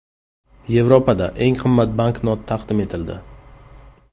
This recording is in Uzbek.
Yevropada eng qimmat banknot taqdim etildi.